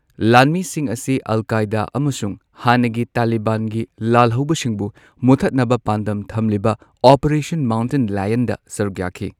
ꯂꯥꯟꯃꯤꯁꯤꯡ ꯑꯁꯤ Al Qaeda ꯑꯃꯁꯨꯡ ꯍꯥꯟꯅꯒꯤ ꯇꯥꯂꯤꯕꯥꯟꯒꯤ ꯂꯥꯜꯍꯧꯕꯁꯤꯡꯕꯨ ꯃꯨꯊꯠꯅꯕ ꯄꯥꯟꯗꯝ ꯊꯝꯂꯤꯕ ꯑꯣꯄꯔꯦꯁꯟ ꯃꯥꯎꯟꯇꯟ ꯂꯥꯌꯟꯗ ꯁꯔꯨꯛ ꯌꯥꯈꯤ꯫